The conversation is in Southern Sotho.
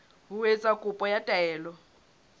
ho etsa kopo ya taelo